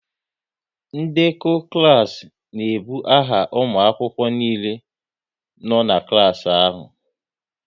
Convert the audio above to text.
Ndekọ klas n'ebu aha ụmụ akwụkwọ niile nọ n'klas ahụ